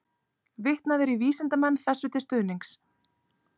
Vitnað er í vísindamenn þessu til stuðnings.